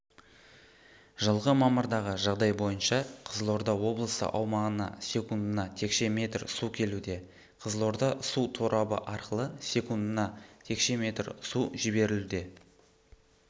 жылғы мамырдағы жағдай бойынша қызылорда облысы аумағына секундына текше метр су келуде қызылорда су торабы арқылы секундына текше метр су жіберілуде